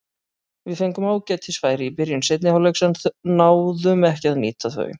Við fengum ágætis færi í byrjun seinni hálfleiks en náðum ekki að nýta þau.